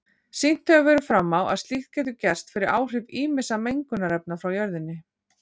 Sýnt hefur verið fram á að slíkt getur gerst fyrir áhrif ýmissa mengunarefna frá jörðinni.